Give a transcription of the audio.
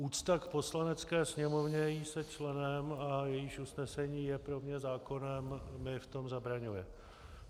Úcta k Poslanecké sněmovně, jejímž jsem členem a jejíž usnesení je pro mě zákonem, mi v tom zabraňuje.